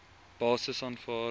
basis aanvaar